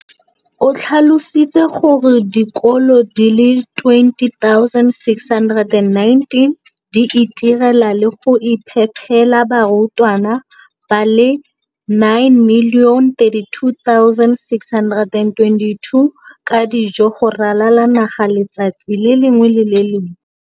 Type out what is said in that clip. o tlhalositse gore dikolo di le 20 619 di itirela le go iphepela barutwana ba le 9 032 622 ka dijo go ralala naga letsatsi le lengwe le le lengwe.